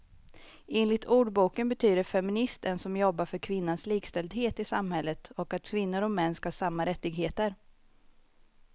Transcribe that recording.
Enligt ordboken betyder feminist en som jobbar för kvinnans likställdhet i samhället och att kvinnor och män ska ha samma rättigheter.